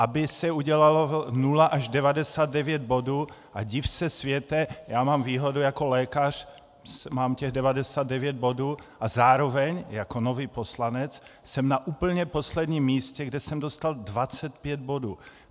Aby se udělalo 0 až 99 bodů, a div se světe, já mám výhodu, jako lékař mám těch 99 bodů - a zároveň jako nový poslanec jsem na úplně posledním místě, kde jsem dostal 25 bodů.